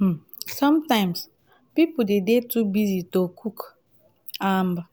um sometimes pipo de dey too busy to cook um